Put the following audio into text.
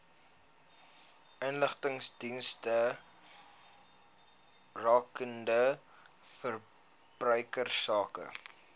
inligtingsdienste rakende verbruikersake